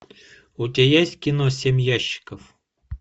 у тебя есть кино семь ящиков